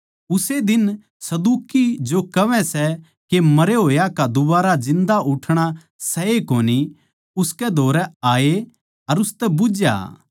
उस्से दिन सदूकी जो कहवै सै के मरे होया का दुबारा जिन्दा उठणा सै ए कोनी उसकै धोरै आये अर उसतै बुझ्झया